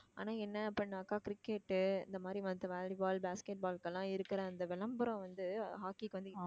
ஆனா என்ன அப்படின்னாக்கா cricket இந்த மாதிரி மத்த volley ball, basket ball க்கு எல்லாம் இருக்கிற அந்த விளம்பரம் வந்து அஹ் hockey க்கு வந்து